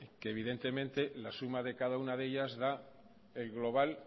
que evidentemente la suma de cada una de ellas da el global